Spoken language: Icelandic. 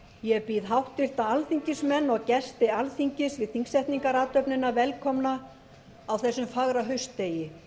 ég býð háttvirta alþingismenn og gesti alþingis við þingsetningarathöfnina velkomna á þessum fagra haustdegi